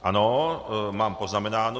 Ano, mám poznamenáno.